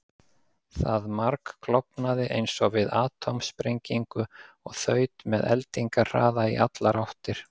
Það margklofnaði eins og við atómsprengingu og þaut með eldingarhraða í allar áttir.